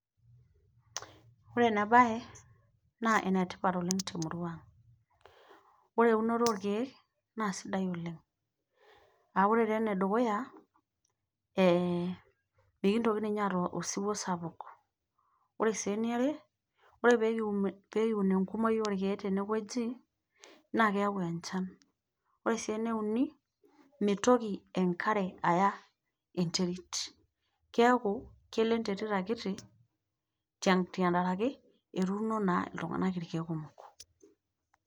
Ore enaa bae naa enetipat oleng' te murua. Ore eunoto ookiek, naa sidai oleng'. A ore taa ene dukuya, mikintoki ninye aatayu osipie sapuk. Ore sii ene are, ore pee kiun enkumoi olkiek tene wueji, naa keyau enchan. Ore sii ene uni, meitoki enkare aya enterit. Keaku kelo enterit akiti tenkarake etuuno naa iltung'ana ilkiek kumok.